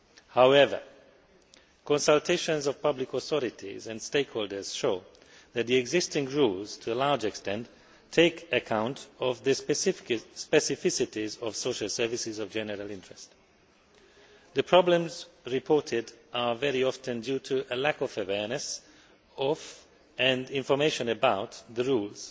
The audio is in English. However, consultations of public authorities and stakeholders show that the existing rules, to a large extent, take account of the specificities of social services of general interest. The problems reported are very often due to a lack of awareness of, and information about, the rules,